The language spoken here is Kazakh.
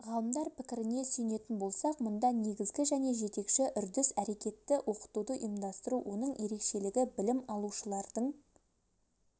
ғалымдар пікіріне сүйенетін болсақ мұнда негізгі және жетекші үрдіс әрекетті оқытуды ұйымдастыру оның ерекшелігі білім алушылардың